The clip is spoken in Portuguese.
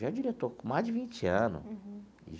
Já é diretor, com mais de vinte ano.